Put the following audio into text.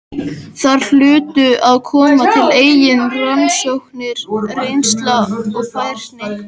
Þar hlutu að koma til eigin rannsóknir, reynsla og færni.